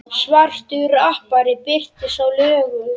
Svartur rappari birtist í lögunum